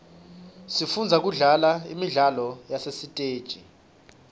sifundza kudlala imidlalo yasesiteji